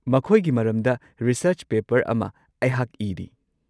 ꯃꯈꯣꯏꯒꯤ ꯃꯔꯝꯗ research paper ꯑꯃ ꯑꯩꯍꯥꯛ ꯏꯔꯤ꯫